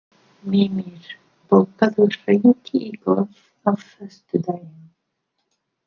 Mímir, bókaðu hring í golf á föstudaginn.